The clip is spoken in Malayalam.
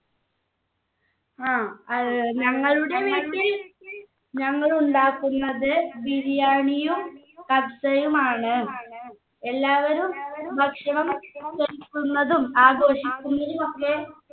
ആ ഏർ ഞങ്ങളുടെ വീട്ടിൽ ഞങ്ങൾ ഉണ്ടാക്കുന്നത് ബിരിയാണിയും കബ്‌സയും ആണ് എല്ലാവരും ഭക്ഷണം ആഘോഷിക്കുന്നതുമൊക്കെ